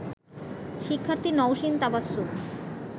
শিক্ষার্থী নওশীন তাবাসসুম